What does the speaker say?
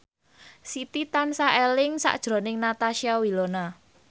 Siti tansah eling sakjroning Natasha Wilona